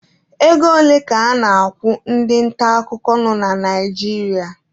Ego ole ka a na-akwụ ndị nta akụkọ nọ na Naijiria?